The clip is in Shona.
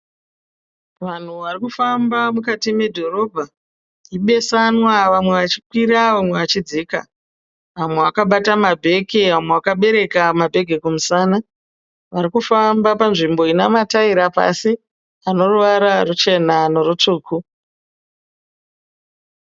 Vanhu varikufamba mukati medhorobha. Ibesanwa vamwe vachikwira vamwe vachidzika. Vamwe vakabata mabheke vamwe vakabereka mabheke kumusana. Varikufamba panzvimbo ine mataira pasi aneruvara ruchena nerutsvuku.